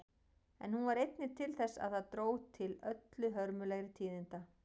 En hún varð einnig til þess að það dró til öllu hörmulegri tíðinda.